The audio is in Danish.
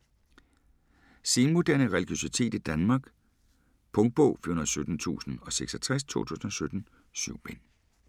Senmoderne religiøsitet i Danmark Punktbog 417066 2017. 7 bind.